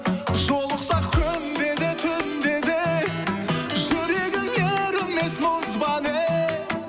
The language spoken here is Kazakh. жолықсақ күнде де түнде де жүрегің ерімес мұз ба не